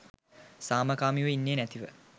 සාමකාමීව ඉන්නෙ නැතිව